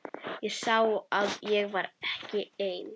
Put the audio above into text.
Ég sá að ég var ekki einn.